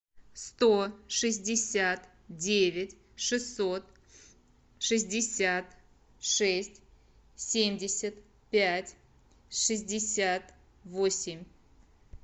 сто шестьдесят девять шестьсот шестьдесят шесть семьдесят пять шестьдесят восемь